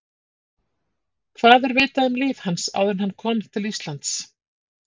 Hvað er vitað um líf hans áður en hann kom til Íslands?